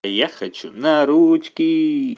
я хочу на ручки